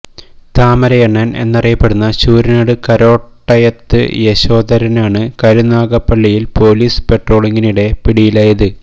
താമരയണ്ണൻ എന്നറിയപ്പെടുന്ന ശൂരനാട് കരോട്ടയ്യത്ത് യശോധരനാണ് കരുനാഗപ്പള്ളിയിൽ പൊലീസ് പട്രോളിങ്ങിനിടെ പിടിയിലായത്